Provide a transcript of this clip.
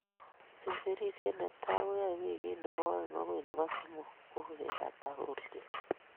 Semberisiet netai keyoei wikit nebo oeng agoi nebo somok kokebata kolset